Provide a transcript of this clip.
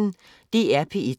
DR P1